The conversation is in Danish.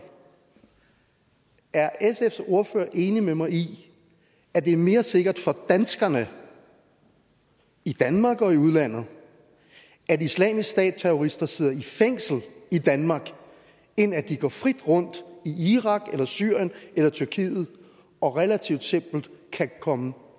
er sfs ordfører enig med mig i at det er mere sikkert for danskerne i danmark og i udlandet at islamisk stat terrorister sidder i fængsel i danmark end at de går frit rundt i irak syrien eller tyrkiet og relativt simpelt kan komme